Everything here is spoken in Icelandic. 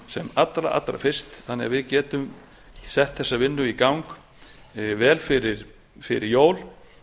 sem allra fyrst þannig að við getum sett þessa vinnu í gang vel fyrir jól